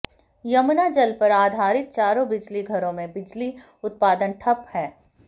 यमुना जल पर आधारित चारों बिजली घरों में बिजली उत्पादन ठप है